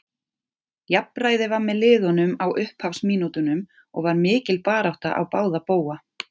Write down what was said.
Jafnræði var með liðunum á upphafsmínútunum og var mikil barátta á báða bóga.